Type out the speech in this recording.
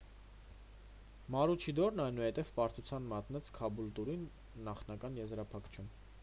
մարուչիդորն այնուհետև պարտության մատնեց քաբուլտուրին նախնական եզրափակիչում